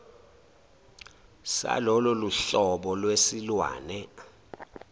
salolo hlobo lwesilwane